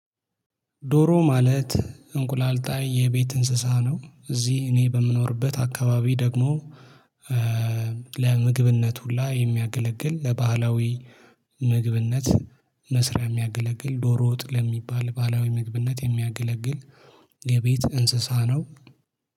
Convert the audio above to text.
ዶሮ ማለት እንቁላል ጣይ የቤት እንስሳ ነው። እዚህ እኔ በምኖርበት አካባቢ ደግሞ ለምግብነት ሁላ የሚያገለግል ለባህላዊ ምግብነት መስሪያ የሚያገለግል ዶሮ ወጥ ለሚባል ባላዊ ምግብነት የሚያገለግል። የቤት እንስሳ ነው።